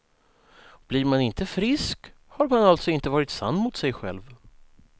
Blir man inte frisk, har man alltså inte varit sann mot sig själv.